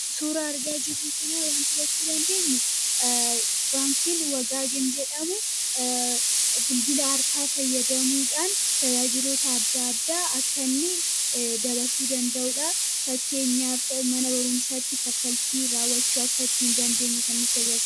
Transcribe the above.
Suura argaa jiruu kana wanta hubachuu dandeenyu baankiin wagaagin jedhamu bilbila harkaa fayyadamuudhaan tajaajilota adda addaa akka inni dabarsuu danda'uudha. Fakkeenyaa mana barumsaatti kaffaltii raawachuu akka ittiin dandeenyu kan nu garagaarudha.